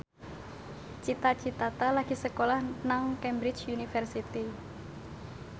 Cita Citata lagi sekolah nang Cambridge University